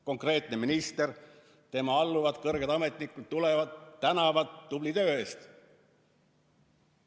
Konkreetne minister ja tema alluvad, kõrged ametnikud, tulevad ja tänavad tubli töö eest.